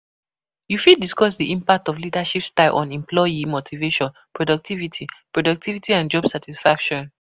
You fit discuss di impact of leadership style on employee motivation, productivity productivity and job satisfaction.